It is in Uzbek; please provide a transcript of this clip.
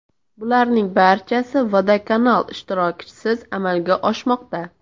Bularning barcha vodokanal ishtirokisiz amalga oshmoqda.